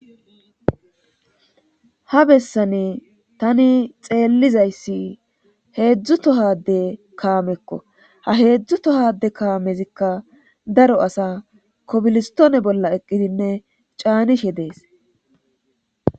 ha bessani tani xeellizayssi heedzdzu tohade kaamekko ha heedzdzu tohade kaamezikka daro asa kobilistoone bolla eqqidinne caanishe dees